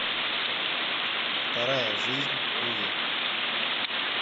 вторая жизнь уве